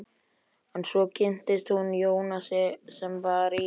En svo kynntist hún Jónasi sem var í